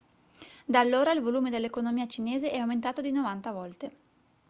da allora il volume dell'economia cinese è aumentato di 90 volte